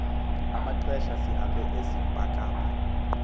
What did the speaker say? amaxesha sihambe esibhakabha